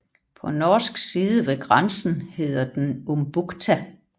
På norsk side ved grænsen hedder den Umbukta